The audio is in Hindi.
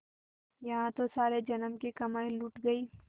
यहाँ तो सारे जन्म की कमाई लुट गयी